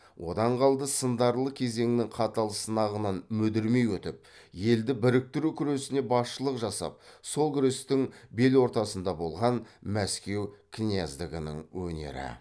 одан қалды сындарлы кезеңнің қатал сынағынан мүдірмей өтіп елді біріктіру күресіне басшылық жасап сол күрестің бел ортасында болған мәскеу князьдігінің өнері